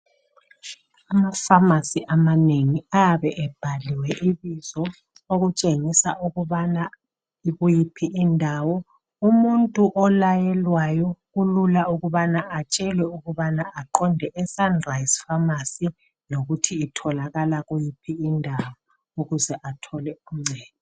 Amafamasi amanengi ayabe ebhaliwe ibizo okutshengisa ukubana ikuyiphi indawo. Umuntu olayelwayo kulula ukubana atshelwe ukubana aqonde esunrise famasi lokuthi itholakala kuyiphi indawo .Ukuze athole uncedo .